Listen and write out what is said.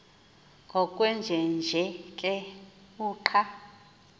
ngokwenjenje ke uqa